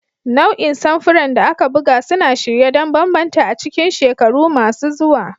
Nau'in samfuran da aka buga suna shirye don bambanta a cikin shekaru masu zuwa.